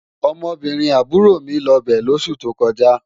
Ọmọbìnrin àbúrò mi lọ bẹ̀ lóṣù tó kọjá